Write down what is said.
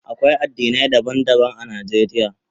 Akwai addinai daban-daban a Najeriya.